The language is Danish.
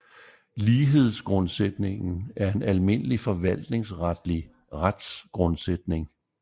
Lighedsgrundsætningen er en almindelig forvaltningsretlig retsgrundsætning